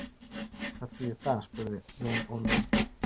Hvað þýðir það spurði Jón Ólafur.